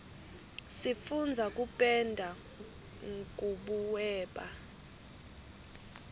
sifundza kupenda nkubuweba